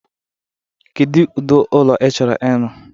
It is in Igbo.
Kedu ụdị ụlọ i chọrọ ịrụ?